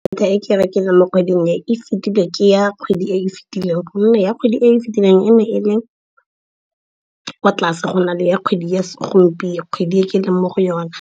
Data e ke e rekileng mo kgwedi e, e fetile ke ya kgwedi e fitileng gonne ya kgwedi e fitileng e ne e le kwa tlase go na le ya kgwedi e ke leng mo go yona.